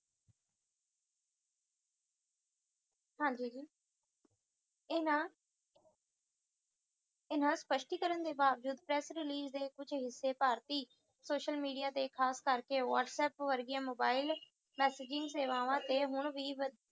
ਹਾਂਜੀ ਜੀ ਇਹਨਾਂ ਇਹਨਾਂ ਸਪਸ਼ਟੀਕਰਨ ਦੇ ਆਧਾਰ ਉੱਤੇ press release ਦੇ ਕੁੱਛ ਹਿੱਸੇ ਭਾਰਤੀ Social Media ਦੇ ਖਾਸ ਕਰਕੇ WhatsApp ਵਰਗੀਆਂ mobile messaging ਸੇਵਾਵਾਂ ਉੱਤੇ ਹੁਣ ਵੀ